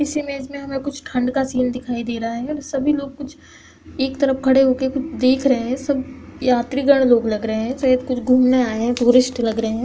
इस इमेज में हमें कुछ ठंड का सीन दिखाई दे रहा है और सभी लोग कुछ एक तरफ खड़े हो कर देख रहे हैं सब यात्रीगण लोग लग रहे हैं शायद कुछ घूमने आये हैं टूरिस्ट लग रहे हैं।